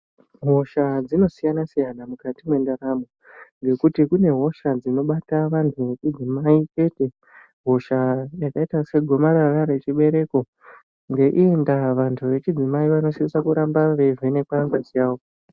Hosha dzinosiyana siyana mukati mendaramo ngekuti kune hosha dzinobata vanhu vechidzimai chete hosha yakaita segomarara rechibereko ngeiyondaa vantu vechidzimai vanosisa kuramba veivhenekwa ngazi yavo